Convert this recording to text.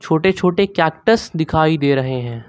छोटे छोटे कैक्टस दिखाई दे रहे हैं।